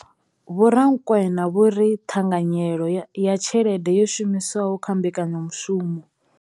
Vho Rakwena vho ri ṱhanganyelo ya tshelede yo shumiswaho kha mbekanyamushumo.